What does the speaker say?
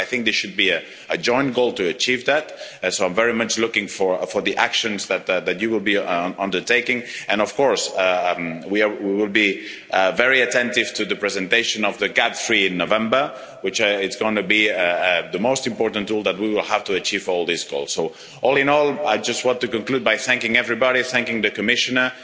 I think that it should be a joint goal to achieve that, and so I'm very much looking for the actions that that you will be undertaking and, of course, we will be very attentive to the presentation of GAP III in November, which is going to be the most important tool that we will have to achieve all of these goals. So, all in all, I just want to conclude by thanking everybody, thanking the Commissioner.